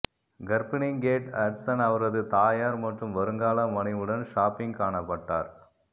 கர்ப்பிணி Kate Hudson அவரது தாயார் மற்றும் வருங்கால மனைவியுடன் ஷாப்பிங் காணப்பட்டார்